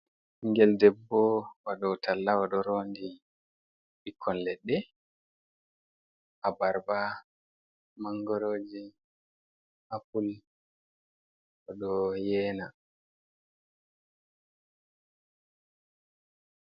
Ɓingel debbo wadowo talla oɗo rondi ɓikkon leɗɗe abarba, mangoroji, apul, oɗo yena.